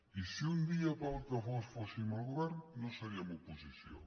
i si un dia pel que fos fóssim el govern no seríem oposició